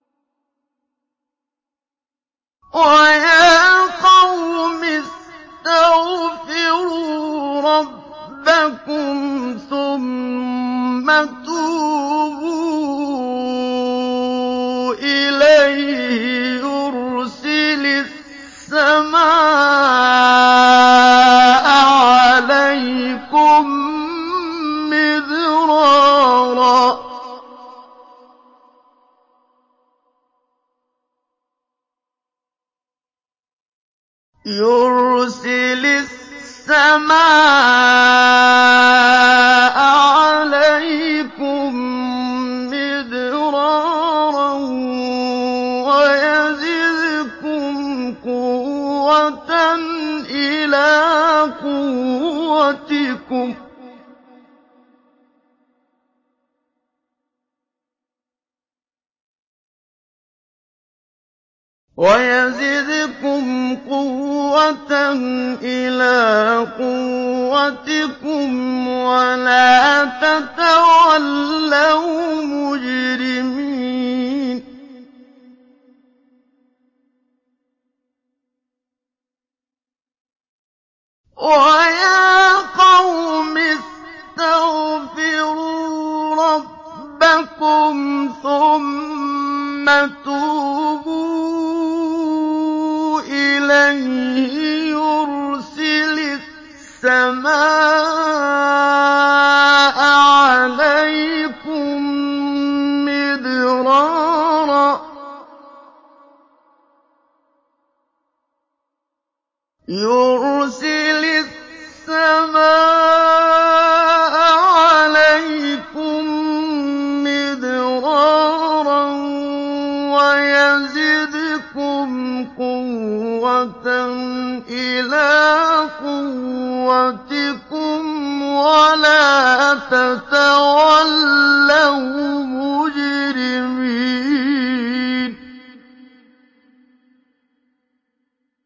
وَيَا قَوْمِ اسْتَغْفِرُوا رَبَّكُمْ ثُمَّ تُوبُوا إِلَيْهِ يُرْسِلِ السَّمَاءَ عَلَيْكُم مِّدْرَارًا وَيَزِدْكُمْ قُوَّةً إِلَىٰ قُوَّتِكُمْ وَلَا تَتَوَلَّوْا مُجْرِمِينَ